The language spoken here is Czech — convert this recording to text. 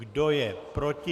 Kdo je proti?